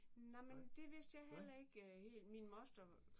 Nej men det vidste jeg heller ikke helt. Min moster